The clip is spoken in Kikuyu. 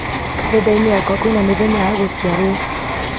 karenda-inĩ yakwa kwĩna mĩthenya ya gũciarwo